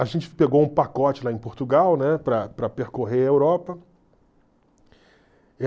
A gente pegou um pacote lá em Portugal, né, para para percorrer a Europa.